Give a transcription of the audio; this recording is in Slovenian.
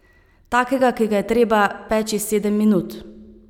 Takega, ki ga je treba peči sedem minut.